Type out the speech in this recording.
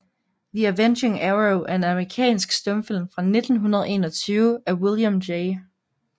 The Avenging Arrow er en amerikansk stumfilm fra 1921 af William J